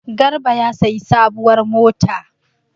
Garba ya sayi sabuwar mota.